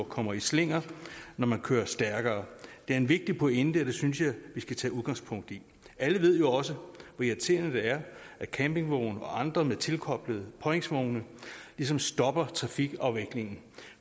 kommer i slinger når man kører stærkere det er en vigtig pointe og det synes jeg vi skal tage udgangspunkt i alle ved jo også hvor irriterende det er at campingvogne og andre med tilkoblede påhængsvogne ligesom stopper trafikafviklingen